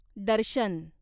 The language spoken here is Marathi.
दर्शन